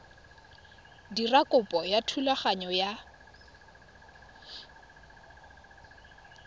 dira kopo ya thulaganyo ya